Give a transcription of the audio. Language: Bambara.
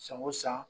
San o san